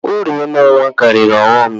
Uru ịmụ nnwa karịrị ọghọm ya